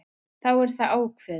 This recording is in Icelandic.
Þá er það ákveðið.